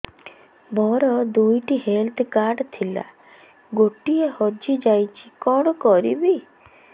ମୋର ଦୁଇଟି health card ଥିଲା ଗୋଟିଏ ହଜି ଯାଇଛି କଣ କରିବି